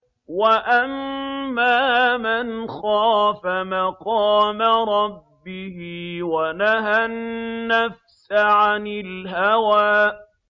وَأَمَّا مَنْ خَافَ مَقَامَ رَبِّهِ وَنَهَى النَّفْسَ عَنِ الْهَوَىٰ